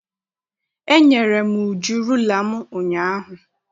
Enyere m Uju rula m ụnyaahụ.